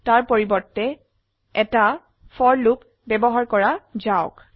তাৰ পৰিবৰ্তে এটা ফৰ লুপ ব্যবহাৰ কৰা যাওক